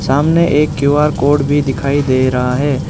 सामने एक Q R code भी दिखाई दे रहा है।